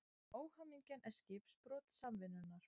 Óhamingjan er skipbrot samvinnunnar.